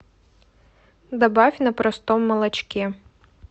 добавь на простом молочке